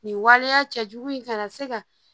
Nin waleya cɛjugu in kana se ka